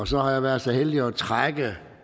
og så har jeg været så heldig at trække